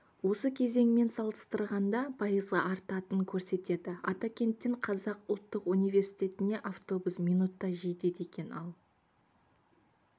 осы кезеңімен салыстырғанда пайызға артатынын көрсетті атакенттен қазақ ұлттық университетіне автобус минутта жетеді екен ал